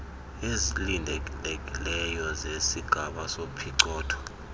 ezilindelekileyo zesigaba sophicotho